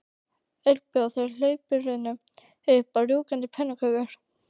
Öll bjóða þau hlaupurum upp á rjúkandi pönnukökur.